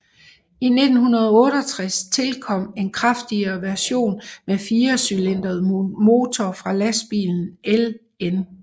I 1968 tilkom en kraftigere version med firecylindret motor fra lastbilen LN